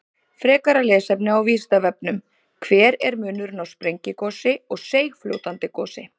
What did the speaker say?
Frekara lesefni á Vísindavefnum: Hver er munurinn á sprengigosi og seigfljótandi gosi?